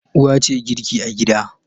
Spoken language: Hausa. Uwa ce girki a gida.